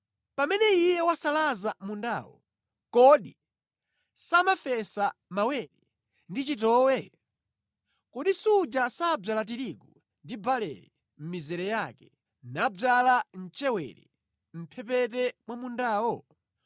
Pamene iye wasalaza mundawo, kodi samafesa mawere ndi chitowe? Kodi suja samadzala tirigu ndi barele mʼmizere yake, nadzala mchewere mʼphepete mwa mundawo?